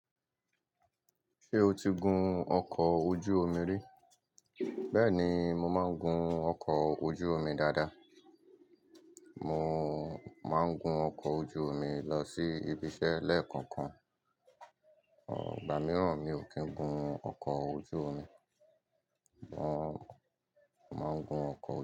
Ṣé o ti gun ọkọ̀ ojú omi rí? Bẹ́ẹ̀ni, mo máa ń gun ọkọ̀ ojú omi dáadáa. Mo máa ń gun ọkọ̀ ojú omi lọ sí ibiṣẹ́ lẹ́ẹ̀koọ̀kan. Igbà mìíràn mi n kí ń gun ọkọ̀ ojú omi. Wọ́n máa ń gun ọkọ̀